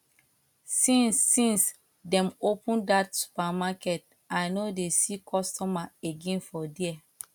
since since dem open dat supermarket i no dey see customer again for here